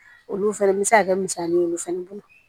Olu fɛnɛ bɛ se ka kɛ misali ye olu fana bolo